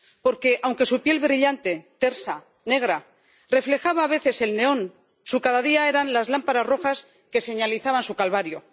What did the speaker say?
Porque aunque su piel brillante, tersa, negra reflejaba a veces el neón, su cada día eran las lámparas rojas que señalizaban su calvario.